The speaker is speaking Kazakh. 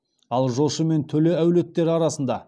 ал жошы мен төле әулеттері арасында